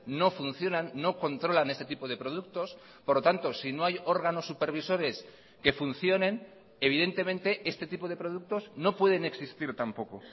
no funcionan no controlan este tipo de productos por lo tanto si no hay órganos supervisores que funcionen evidentemente este tipo de productos no pueden existir tampoco